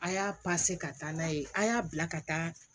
A' y'a ka taa n'a ye an y'a bila ka taa